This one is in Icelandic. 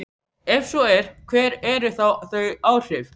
Ef svo er, hver eru þá þau áhrif?